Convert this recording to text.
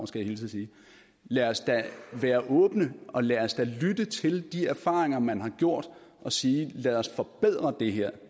skal jeg hilse og sige lad os da være åbne lad os da lytte til de erfaringer man har gjort og sige lad os forbedre det her